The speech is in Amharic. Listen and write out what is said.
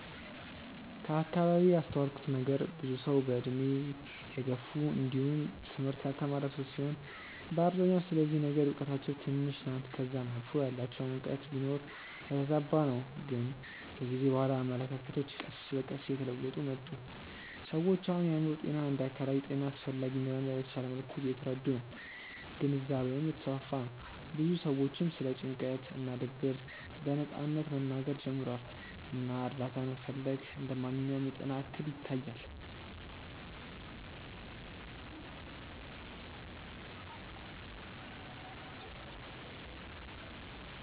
ከአከባቢዬ ያስተዋልኩት ነገር ብዙ ሰዉ በእድሜ የገፉ እንዲውም ትምህርት ያልተማረ ሰዉ ሲሆኑ በአብዛኛው ስለዚህ ነገር እውቀታቸው ትንሽ ናት ከዛም አልፎ ያላቸውም እውቀት ቢኖር የተዛባ ነው ግን ከጊዜ በኋላ አመለካከቶች ቀስ በቀስ እየተለወጡ ነው። ሰዎች አሁን የአእምሮ ጤና እንደ አካላዊ ጤና አስፈላጊ እንደሆነ በተሻለ መልኩ እየተረዱ ነው ግንዛቤውም እየተስፋፋ ነው ብዙ ሰዎችም ስለ ጭንቀት እና ድብርት በነጻነት መናገር ጀምረዋል እና እርዳታ መፈለግ እንደ ማንኛውም የጤና እክል ይታያል።